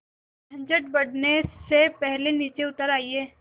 झंझट बढ़ने से पहले नीचे उतर आइए